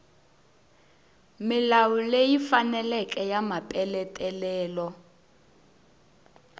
milawu leyi faneleke ya mapeletelo